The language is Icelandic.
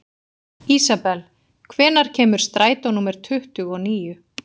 Ísabel, hvenær kemur strætó númer tuttugu og níu?